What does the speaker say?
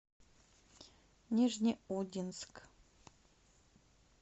нижнеудинск